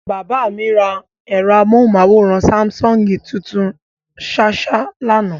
Bàbá mi ra ẹ̀rọ amóhùnmáwòrán Sáḿsọ̀ngì tuntun ṣáṣá lánàá.